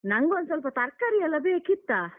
ನಂಗೊಂದ್ ಸ್ವಲ್ಪ ತರ್ಕಾರಿ ಎಲ್ಲ ಬೇಕಿತ್ತ.